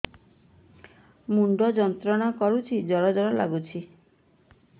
ମୁଣ୍ଡ ଯନ୍ତ୍ରଣା କରୁଛି ଜର ଜର ଲାଗୁଛି